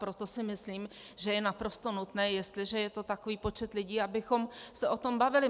Proto si myslím, že je naprosto nutné, jestliže je to takový počet lidí, abychom se o tom bavili.